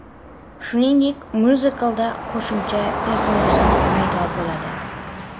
Shuningdek, myuziklda qo‘shimcha personajlar paydo bo‘ladi.